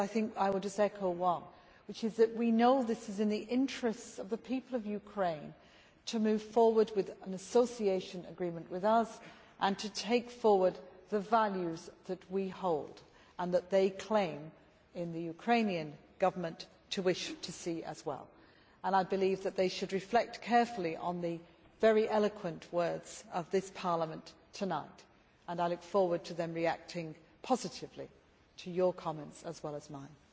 I will just echo one, which is that we know that it is in the interests of the people of Ukraine to move forward with an association agreement with us and to take forward the values which we hold dear and which the members of the Ukrainian Government claim to wish to see as well. I believe that they should reflect carefully on the very eloquent words of this Parliament tonight, and I look forward to their reacting positively to your comments and to mine.